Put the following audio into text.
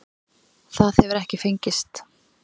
Það hefur ekki fengist.